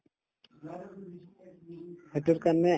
সেইটোৰ কাৰণে